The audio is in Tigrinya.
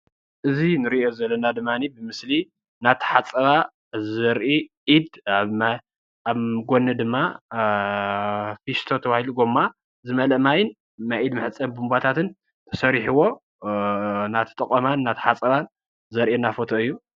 እዙይ እንሪእዩ ዘለና ድማኒ ብምስሊ እናተሓፀባ ዘሪኢ እድ ኣብ ጎኒ ድማ ፊስቶ ተባህሉ ጎማ ዝመለአ ማይ ናይ እድ ማሕፀቢ ቡንቦታትን ተሰሪሒዎ እናተጠቀማን እናተሓፀባን ዘሪእየና ፎቶ እዩ።